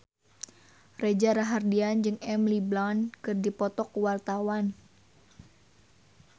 Reza Rahardian jeung Emily Blunt keur dipoto ku wartawan